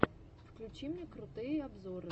включи мне крутые обзоры